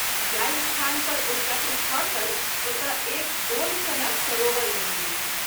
जाहि स्थान पर ओ चक्र खसल ओतय एक गोल सनक सरोवर बनि गेल।